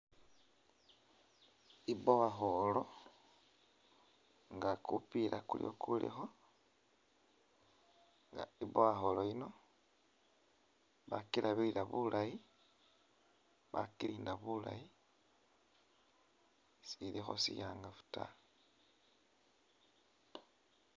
I borehole nga kupiila kuliwo kulikho, nga i borehole yino bakilabilila bulayi, bakilinda bulayi silikho shi'angafu ta.